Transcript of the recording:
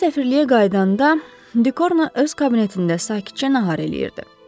Onlar səfirliyə qayıdanda Dekorn öz kabinetində sakitcə nahar eləyirdi.